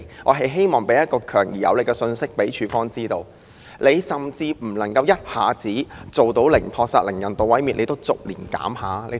我希望向署方發出強而有力的信息，要求即使不能一下子做到零撲殺、零人道毀滅，也要逐年減少。